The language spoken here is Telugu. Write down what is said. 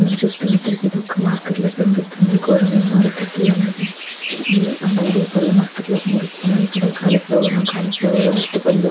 ఇది చూస్తున్నట్లయితే ఇది ఒక మార్కెట్లో కనిపిస్తుంది కూరగాయల మార్కెట్ అలాగే పూల మార్కెట్లో కనిపిస్తుంది ఇక్కడ క్యాలీఫ్లవర్ లో అట్టి పండ్లు.